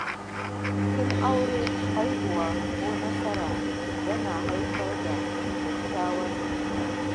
Bikin aure, haihuwa, ko samun nasara yana haifar da kyawawan tunani.